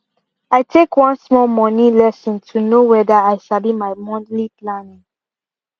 i take one small moni lesson to know wether i sabi my monthly planning